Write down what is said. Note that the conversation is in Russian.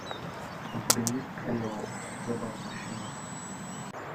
у тебя есть клео забавный щенок